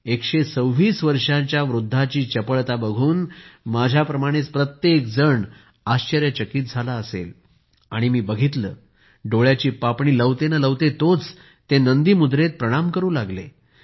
126 वर्षाच्या वृद्धाची चपळता बघून माझ्या प्रमाणेच प्रत्येक जण आश्चर्यचकित झाला असेल आणि मी बघितलं डोळ्याची पापणी लावते न लावते तोच ते नंदी मुद्रेत प्रणाम करू लागले